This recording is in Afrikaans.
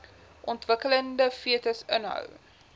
ontwikkelende fetus inhou